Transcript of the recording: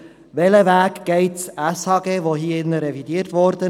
Welchen Weg geht das SHG, welches hier im Saal revidiert wurde?